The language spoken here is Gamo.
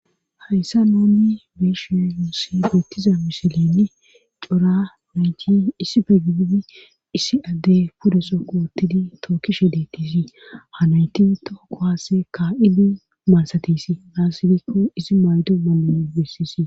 Hayssa nooni beeshi nusibeettiza misilinn cora nayti issi pe giidi issi addey pudeso kootidi tookishe deettisi hanayti too kohaase ka7ili mansatisi aasidikko isi maydo mannano bessisi